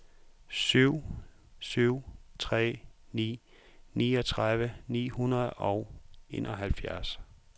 syv syv tre ni niogtredive ni hundrede og enoghalvfjerds